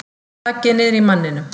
Þaggið niðri í manninum!